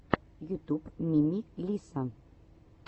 ютюб мими лисса